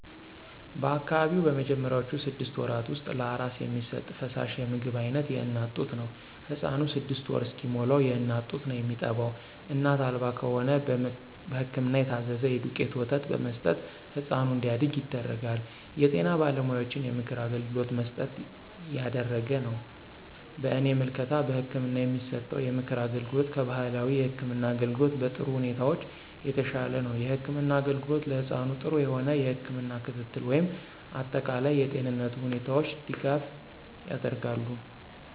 በአካባቢው በመጀመሪያውቹ ስድስት ወራት ውስጥ ለአራስ የሚሰጥ ፈሳሽ የምግብ አይነት የእናት ጡት ነው። ህፃኑ ስድስት ወር እስከሚሞላዉ የእናት ጡት ነው የሚጠባው እናት አልባ ከሆነ በህክምና የታዘዘ የዱቄት ወተት በመስጠት ህፃኑ እንዲያድግ ይደረጋል። የጤና ባለሙያዎችን የምክር አገልግሎት መሠረት ያደረገ ነው። በእኔ ምልከታ በህክምና የሚሰጠው የምክር አገልግሎት ከባህላዊ የህክም አገልግሎት በጥሩ ሁኔታዎች የተሻለ ነው። የህክምና አገልግሎት ለህፃኑ ጥሩ የሆነ የህክም ክትትል ወይም አጠቃላይ የጤንነቱ ሁኔታዎች ድጋፍ ያደርጋሉ።